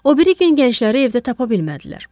O biri gün gəncləri evdə tapa bilmədilər.